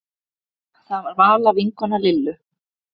Það var Vala vinkona Lillu.